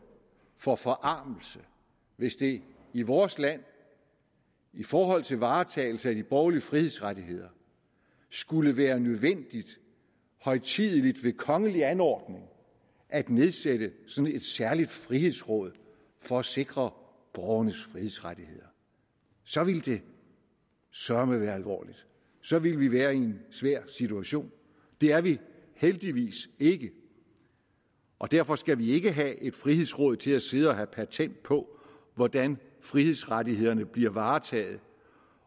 for en forarmelse hvis det i vores land i forhold til varetagelse af de borgerlige frihedsrettigheder skulle være nødvendigt højtideligt ved kongelig anordning at nedsætte sådan et særligt frihedsråd for at sikre borgernes frihedsrettigheder så ville det søreme være alvorligt så ville vi være i en svær situation det er vi heldigvis ikke og derfor skal vi ikke have et frihedsråd til at sidde og have patent på hvordan frihedsrettighederne bliver varetaget